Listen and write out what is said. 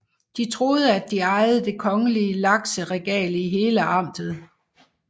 De troede at de ejede det kongelige lakseregale i hele amtet